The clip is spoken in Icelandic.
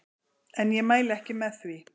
En ég mæli ekki með því.